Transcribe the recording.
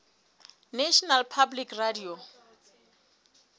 national public radio